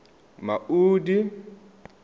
maudi